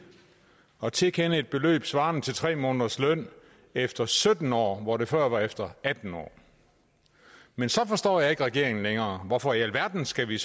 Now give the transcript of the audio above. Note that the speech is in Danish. at tilkende et beløb svarende til tre måneders løn efter sytten år hvor det før var efter atten år men så forstår jeg ikke regeringen længere hvorfor i alverden skal vi